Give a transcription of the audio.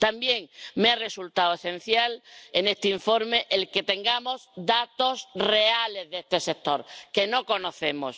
También me ha resultado esencial en este informe que tengamos datos reales de este sector que no conocemos.